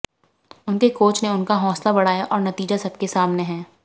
उनके कोच ने उनका हौंसला बढ़ाया और नतीजा सबके सामने हैं